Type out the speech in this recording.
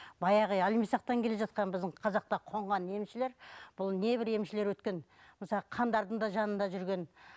баяғы иә әлмісақтан келе жатқан біздің қазақта қонған емшілер бұл небір емшілер өткен мысалы хандардың да жанында жүрген